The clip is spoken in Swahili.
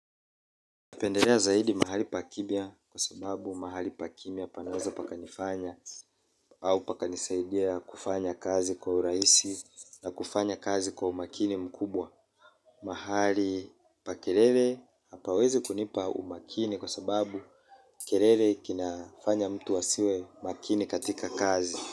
Napendelea zaidi mahali pa kimya kwa sababu mahali pa kimya panaweza pakanifanya au pakanisaidia kufanya kazi kwa urahisi na kufanya kazi kwa umakini mkubwa. Mahali pa kelele hapawezi kunipa umakini kwa sababu kelele kinafanya mtu asiwe makini katika kazi.